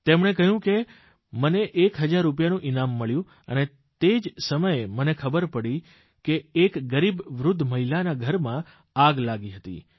તેમણે કહ્યું કે મને એક હજાર રૂપિયાનું ઇનામ મળ્યું અને તે જ સમયે મને ખબર પડી કે એક ગરીબ વૃદ્ધ મહિલાના ઘરમાં આગ લાગી હતી